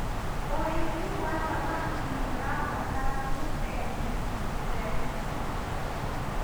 urithi wa thamakĩ nĩũrabatara tundemu tutheru